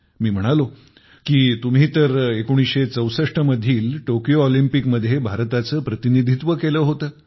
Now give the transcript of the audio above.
मी म्हणालो की तुम्ही तर १९६४ मधील टोकियो ऑलिम्पिकमध्ये भारताचे प्रतिनिधित्व केले होते